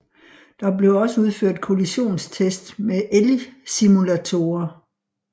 Der blev også udført kollisionstests med elgsimulatorer